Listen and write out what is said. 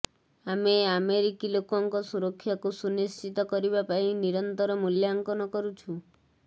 ଆମେ ଆମେରିକୀ ଲୋକଙ୍କ ସୁରକ୍ଷାକୁ ସୁନିଶ୍ଚିତ କରିବା ପାଇଁ ନିରନ୍ତର ମୂଲ୍ୟାଙ୍କନ କରୁଛୁ